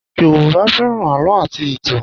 Yoruba fẹ́ràn àlọ́ àti ìtàn